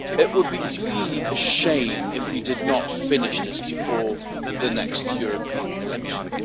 It would really be a shame if we did not finish this before the next European elections.